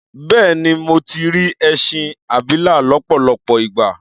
Bẹ́ẹ̀ni, mo ti rí ẹṣin abilà lọ́pọ̀lọpọ̀ ìgbà.